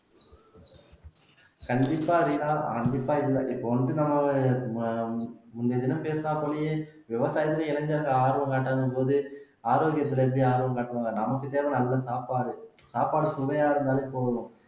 கண்டிப்பா ரீனா கண்டிப்பா இல்ல இப்ப வந்து அஹ் நம்ம முந்தைய தினம் பேசுனா போலயே விவசாயத்துல இளைஞர்கள் ஆர்வம் காட்டாத போது ஆரோக்கியத்துல எப்படி ஆர்வம் காட்டுவாங்க நமக்கு தேவையான நல்ல சாப்பாடு சாப்பாடு சுவையா இருந்தாலே போதும்